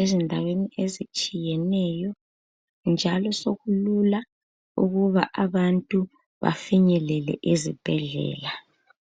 ezindaweni ezitshiyeneyo, njalo sokulula uba abantu bafinyele ezibhedlela.